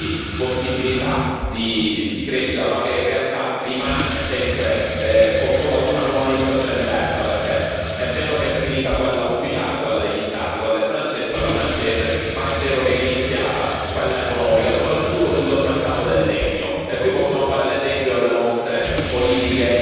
di crescita, ma che in realtà rimane sempre sottomesso ad una colonizzazione diversa, perché è vero che è finita quella ufficiale, quella degli Stati, quella francese, ma è vero che è iniziata quella economica, soprattutto sul mercato del legno. E qui possiamo fare l'esempio delle nostre politiche incoerenti, perché abbiamo